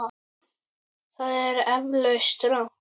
Það er eflaust rangt.